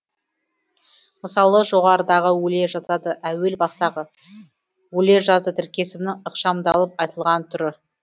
мысалы жоғарыдағы өле жазады әуел бастағы өле жазды тіркесімінің ықшамдалып айтылған түрі